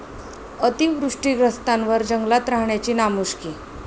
अतिवृष्टीग्रस्तांवर जंगलात राहण्याची नामुष्की!